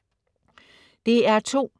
DR2: